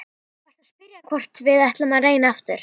Þú varst að spyrja hvort við ættum að reyna aftur.